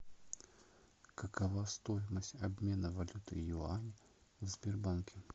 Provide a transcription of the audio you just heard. какова стоимость обмена валюты юань в сбербанке